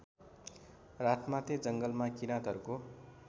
रातमाटे जङ्गलमा किराँतहरूको